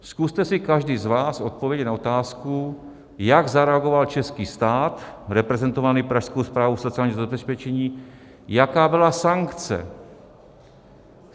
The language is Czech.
Zkuste si každý z vás odpovědět na otázku, jak zareagoval český stát reprezentovaný Pražskou správou sociálního zabezpečení, jaká byla sankce.